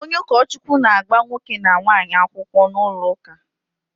Onye ukochukwu na-agba nwoke na nwaanyi akwukwo n'ulo uka